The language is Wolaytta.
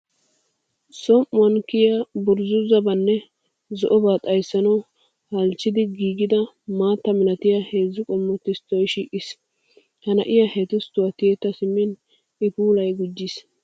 Som"uwan kiya burzzuzzabanne zo'oba xayssanawu halchchetti giigida maatta malatiya heezzu qommo tisttoy shiiqis. Ha na'iya he tisttuwa tiyetta simmin I puulay gujjiis.